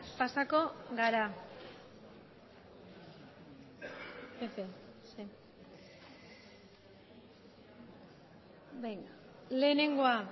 pasako gara lehenengoa